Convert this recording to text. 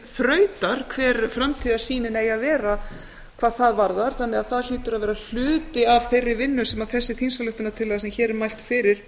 þrautar hver framtíðarsýnin eigi að vera hvað það varðar þannig að það hlýtur að vera hluti af þeirri vinnu sem þessi þingsályktuanrtillaga sem hér er mælt fyrir